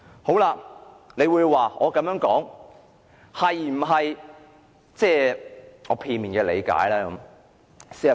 大家或會指我的言論是基於我片面的理解。